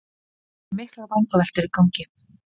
Það eru miklar vangaveltur í gangi